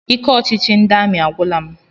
Ike ọchịchị ndị amị agwụla m.